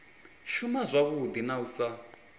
shuma zwavhui na u sa